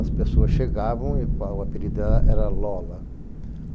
As pessoas chegavam e o apelido dela era Lola.